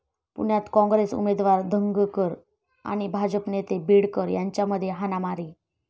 पुण्यात काँग्रेस उमेदवार धंगेकर आणि भाजप नेते बीडकर यांच्यामध्ये हाणामारी